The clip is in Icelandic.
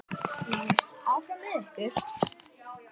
LÁRUS: Áfram með ykkur!